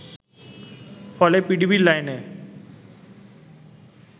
ফলে পিডিবির লাইনে